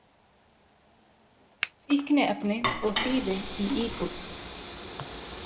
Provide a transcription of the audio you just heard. Fíkniefni og þýfi í íbúð